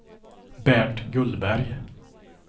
Bernt Gullberg